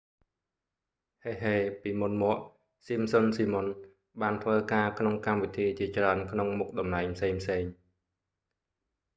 heheពី​មុន​មក​ simpsons simon បានធ្វើការក្នុង​កម្មវិធីជាច្រើន​ក្នុងមុខតំណែងផ្សេងៗ។